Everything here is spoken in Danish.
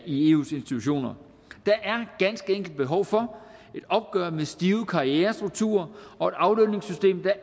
i eus institutioner der er ganske enkelt behov for et opgør med stive karrierestrukturer og et aflønningssystem der